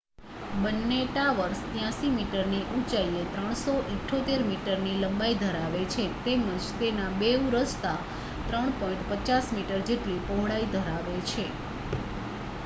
બંને ટાવર્સ 83 મીટરની ઊંચાઈ 378 મીટરની લંબાઈ ધરાવે છે તેમજ તેના બેઉ રસ્તા 3.50 મીટર જેટલી પહોળાઈ ધરાવે છે